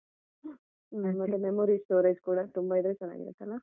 ಮತ್ತೆ memory storage ಕೂಡ ತುಂಬಾ ಇದ್ರೆ ಚೆನ್ನಾಗಿರತ್ತಲ್ಲ.